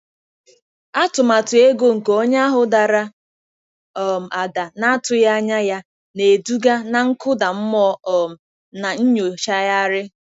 Atụmatụ ego nke onye ahụ dara um ada na-atụghị anya ya, na-eduga na nkụda mmụọ um na nyochagharị.